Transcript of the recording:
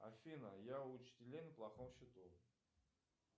афина я у учителей на плохом счету